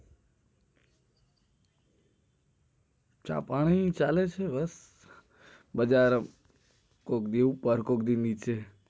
ચા પાણી ચાલે છે બસ બજાર કોઈ દિવસ ઉપર કોઈ દિવસ નીચે